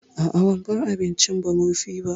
A'a ban bar abincin ba murfi ba